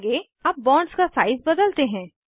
आगे अब बॉन्ड्स का साइज़ बदलते हैं